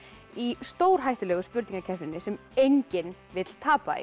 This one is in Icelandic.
í stórhættulegu spurningakeppninni sem enginn vill tapa í